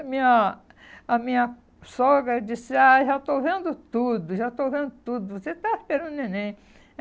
A minha a minha sogra disse, ai já estou vendo tudo, já estou vendo tudo, você está esperando o neném.